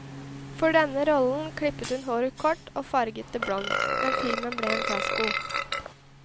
For denne rollen klippet hun håret kort og farget det blondt, men filmen ble en fiasko.